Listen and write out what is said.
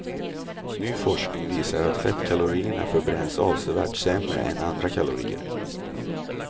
Ny forskning visar att fettkalorierna förbränns avsevärt sämre än andra kalorier.